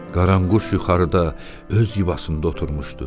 Qaranquş yuxarıda öz yuvasında oturmuşdu.